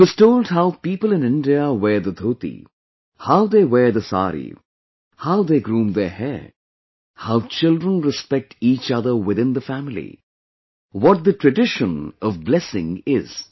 He was told how people in India wear the dhoti, how they wear the saree, how they groom their hair... How children respect each other within the family, what the tradition of blessing is